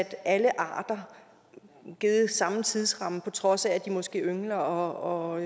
alle arter samme tidsramme på trods af at de måske yngler og